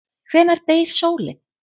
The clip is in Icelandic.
Hvenær deyr sólin?